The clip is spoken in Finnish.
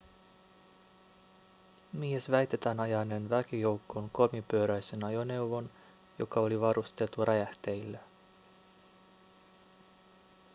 mies väitetään ajaneen väkijoukkoon kolmipyöräisen ajoneuvon joka oli varustettu räjähteillä